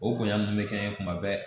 O bonya min bɛ kɛ n ye kuma bɛɛ